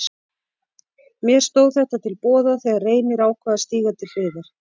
Mér stóð þetta til boða þegar Reynir ákvað að stíga til hliðar.